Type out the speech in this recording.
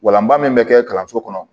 Walanba min bɛ kɛ kalanso kɔnɔ